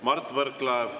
Mart Võrklaev, palun!